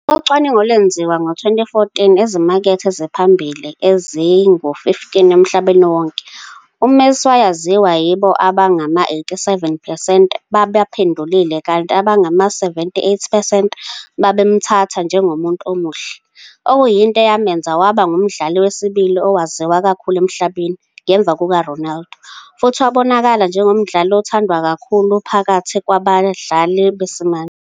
Ngokocwaningo olwenziwa ngo-2014 ezimakethe eziphambili ezingu-15 emhlabeni wonke, uMessi wayaziwa yibo abangama-87 percent babaphendulile, kanti abangama-78 percent babemthatha njengomuntu omuhle, okuyinto eyamenza waba ngumdlali wesibili owaziwa kakhulu emhlabeni, ngemva kukaRonaldo, futhi wabonakala njengomdlali othandwa kakhulu phakathi kwabadlali besimanje.